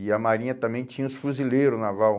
E a marinha também tinha os fuzileiro naval.